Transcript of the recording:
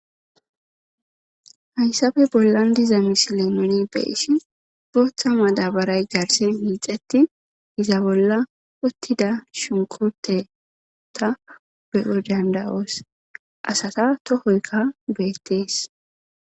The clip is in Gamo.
Hayssappe bollan diza misilen nuni be'ishin bootha madaabaray garsen hiixetin iza bolla uttida shunkurteta be'oy danda'os asata tohoykka beetees.